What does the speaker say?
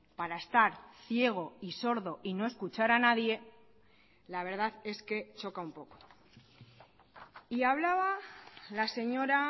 para estar ciego y sordo y no escuchar a nadie la verdad es que choca un poco y hablaba la señora